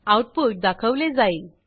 output दाखवले जाईल